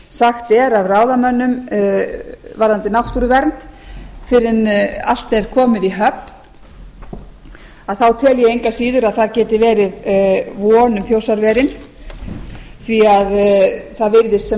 sagt er af ráðamönnum varðandi náttúruvernd fyrr en allt er komið í höfn tel ég engu að síður að það geti verið von um þjórsárverin því að það virðist sem